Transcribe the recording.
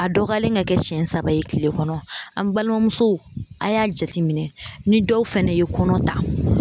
A dɔgɔyalen ka kɛ siɲɛ saba ye kile kɔnɔ an balimamuso a y'a jateminɛ ni dɔw fana ye kɔnɔ ta.